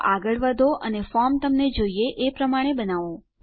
તો આગળ વધો અને ફોર્મ તમને જોઈએ એ રીતે બનાવો